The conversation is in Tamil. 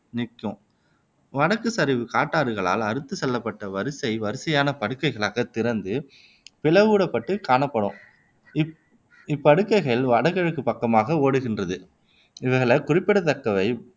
இருக்கும் வடக்குச் சரிவு காட்டாறுகளால் அறுத்துச் செல்லப்பட்ட வரிசை வரிசையான படுகைகளாக திறந்து பிளவிடப்பட்டு காணப்படும் இப் இப் படுகைகள் வடகிழக்குப் பக்கமாக ஓடுகின்றது இவைகள்ல குறிப்பிடத்தக்கவை